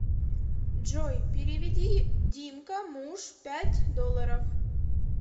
джой переведи димка муж пять долларов